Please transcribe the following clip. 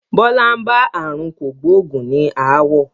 Bọlá ń bá aàrùn kògbógùn ní ááwọ̀